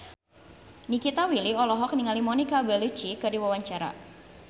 Nikita Willy olohok ningali Monica Belluci keur diwawancara